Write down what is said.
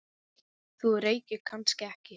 Þú reykir kannski ekki?